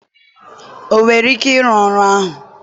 ọ nwere ike ịrụ ọrụ ahụ?